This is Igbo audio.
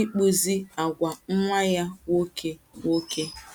ịkpụzi àgwà nwa ya nwoke. nwoke.